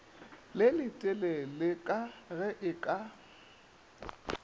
le leteleleka ge e ka